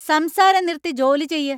സംസാരം നിർത്തി ജോലി ചെയ്യ് !